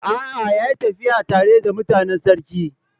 A'a, ya yi tafiya tare da mutanen sarki.